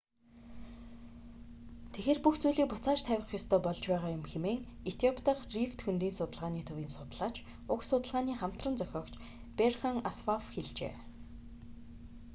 тэгэхээр бүх зүйлийг буцааж тавих ёстой болж байгаа юм хэмээн этиоп дахь рифт хөндийн судалгааны төвийн судлаач уг судалгааны хамтран зохиогч берхан асфав хэлжээ